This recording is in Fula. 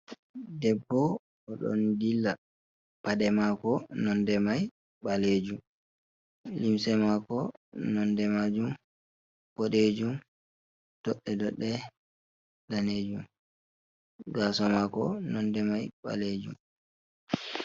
Debbo o don dilla pade mako nonde mai balejum, limse mako nonde majum bodejum, dodde dodde danejum, gaso mako nonde mai balejum.